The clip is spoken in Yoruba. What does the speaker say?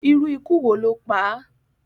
Irú ikú wo ló pá à?